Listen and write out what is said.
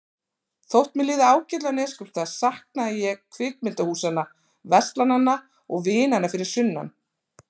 Þótt mér liði ágætlega á Neskaupstað saknaði ég kvikmyndahúsanna, verslananna og vinanna fyrir sunnan.